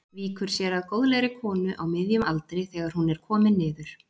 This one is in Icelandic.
Víkur sér að góðlegri konu á miðjum aldri þegar hún er komin niður.